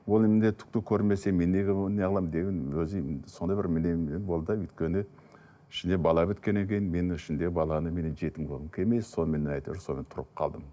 ол міндеттікті көрмесем мен неге неғыламын деп едім өзім сондай бір өйткені ішінде бала біткеннен кейін мен ішінде баланы меннен жетім қылғым келмес сонымен әйтеуір сонымен тұрып қалдым